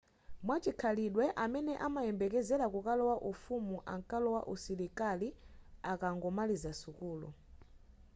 mwachikhalidwe amene amayembekezela kukalowa ufumu ankalowa usilikali akangomaliza sukulu